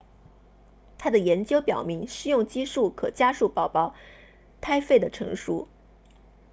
他的研究表明施用激素可加速宝宝胎肺的成熟